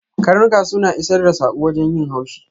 Ƙarnuka suna isar da sako wajen yin haushi.